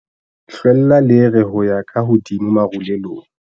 hlwella lere ho ya ka hodimo marulelong